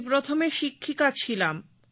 আমি প্রথমে শিক্ষিকা ছিলাম